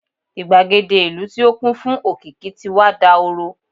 igbagede ìlú ti o kún fún òkìkí ti wà dahoro